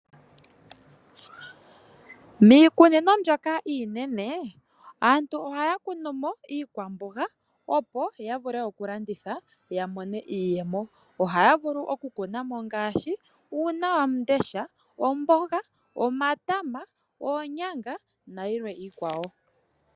Miikunino mbyoka iinene aantu ohaya kunu mo iikwamboga opo ya vule okulanditha ya mone iiyemo. Ohaya vulu okukuna mo ngaashi uunawamundesha, omboga, omayama, oonyanga nayilwe iikwawo.